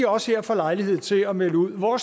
også her får lejlighed til at melde ud hvor